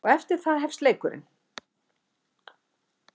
Og eftir það hefst leikurinn.